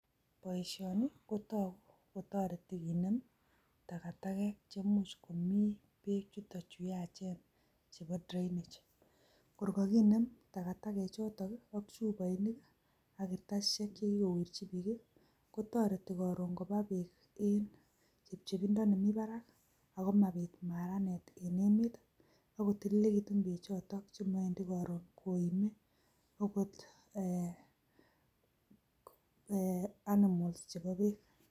Boisioni kotogu kotoreti kinem tagatagek che imuch komi beek chuto chu yachen chebo drainage. Kor koginem tagatagoshek choto ak chuboinik, ak kartasishek che kigowirchi biiik. Kotoreti koron koba beek en chepchepindo nemi barak, ago mobit maranet en emet ago tililekitun bechoton che mowendi koron koime agot animals chebo beek.